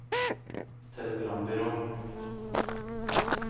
telegrambyrå